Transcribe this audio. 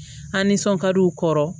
A' nisɔn ka di u kɔrɔ